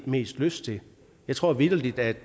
mest lyst til jeg tror vitterlig at